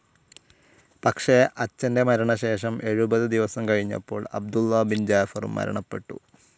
പക്ഷെ അച്ഛൻ്റെ മരണശേഷം എഴുപത് ദിവസം കഴിഞ്ഞപ്പോൾ അബ്ദുള്ള ബിൻ ജാഫറും മരണപ്പെട്ടു.